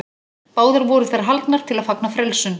Báðar voru þær haldnar til að fagna frelsun.